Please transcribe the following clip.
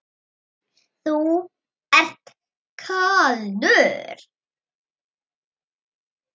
Þú ert kaldur!